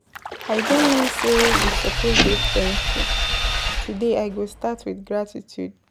I don learn sey we suppose dey thankful, today I go start wit gratitude.